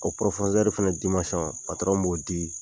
O fana b'o di